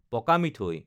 পকা মিঠৈ